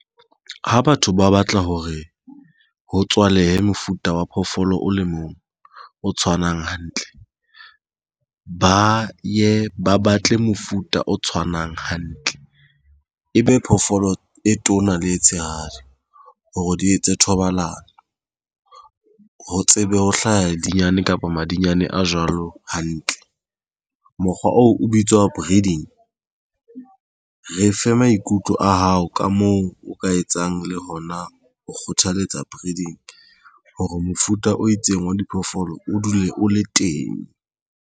Ha batho ba batla hore ho tswalehe mofuta wa phoofolo o le mong o tshwanang hantle. Ba ye ba batle mofuta o tshwanang hantle. Ebe phoofolo e tona le e tshehadi hore di etse thobalano ho tsebe ho hlaha madinyane kapa madinyane a jwalo hantle. Mokgwa oo o bitswa breeding re fe maikutlo a hao ka moo o ka etsang le hona ho kgothaletsa breeding hore mofuta o itseng wa diphoofolo o dule o le teng.